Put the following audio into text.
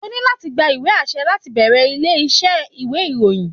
O ní láti gba ìwé àṣẹ láti bẹ̀rẹ̀ ilé iṣẹ́ ìwé ìròyìn.